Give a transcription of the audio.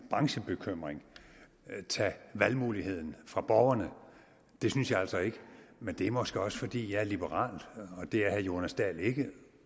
branchebekymring tage valgmuligheden fra borgerne det synes jeg altså ikke men det er måske også fordi jeg er liberal og det er herre jonas dahl ikke